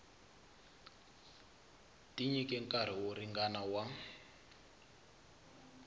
tinyike nkarhi wo ringana wa